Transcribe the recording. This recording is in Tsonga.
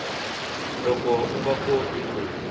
loko u nga koti ku